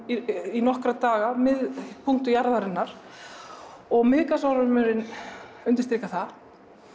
í nokkra daga miðpunktur jarðarinnar og Miðgarðsormur undirstrikar það